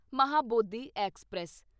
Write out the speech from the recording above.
Mahabodhi express